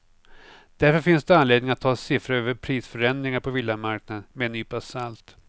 Därför finns det anledning att ta siffror över prisförändringar på villamarknaden med en nypa salt.